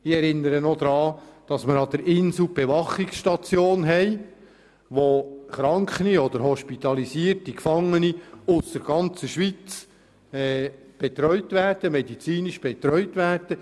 Ich erinnere daran, dass wir am Inselspital die Bewachungsstation haben, wo kranke oder hospitalisierte Gefangene aus der ganzen Schweiz medizinisch betreut werden.